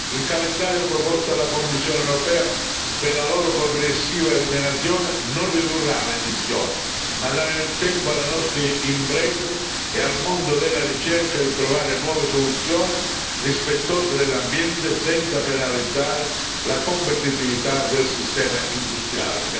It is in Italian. Il calendario proposto dalla Commissione europea per la loro progressiva eliminazione non ridurrà l'emissione, ma darà il tempo alle nostre imprese e al mondo della ricerca di trovare nuove soluzioni, rispettose dell'ambiente senza penalizzare la competitività del sistema industriale.